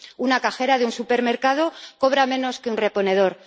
Una cajera de un supermercado cobra menos que un reponedor.